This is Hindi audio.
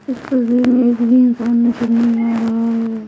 इस तस्वीर मै एक भी इंसान नज़र नहीं आ रहा है।